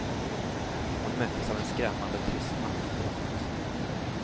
Hon möttes av en skrämmande tystnad. punkt